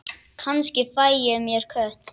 Kannski fæ ég mér kött.